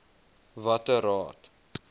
watter raad